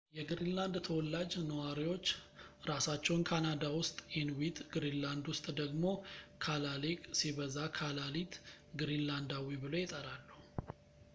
የግሪንላንድ ተዋላጅ ነዋሪዎች ራሳቸውን ካናዳ ውስጥ ኢንዊት፣ ግሪንላንድ ውስጥ ደግሞ ካላሌቅ ሲበዛ ካላሊት፣ ግሪንላንዳዊ ብለው ይጠራሉ